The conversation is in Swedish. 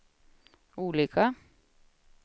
olika